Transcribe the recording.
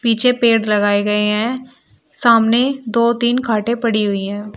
पीछे पेड़ लगाए गए हैं सामने दो तीन खाटे पड़ी हुई हैं।